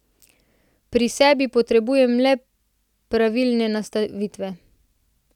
Pri sebi potrebujem le pravilne nastavitve.